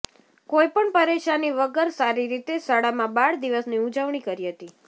કોઈપણ પરેશાની વગર સારી રીતે શાળામાં બાળ દિવસની ઉજવણી કરી હતી